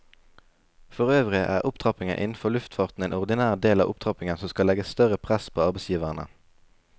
Forøvrig er opptrappingen innenfor luftfarten en ordinær del av opptrappingen som skal legge større press på arbeidsgiverne.